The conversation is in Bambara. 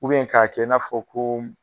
k'a kɛ i n'a fɔ koo m